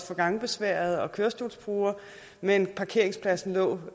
for gangbesværede og kørestolsbrugere men parkeringspladsen lå